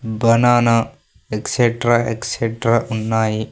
Banana etcetera etcetera ఉన్నాయి.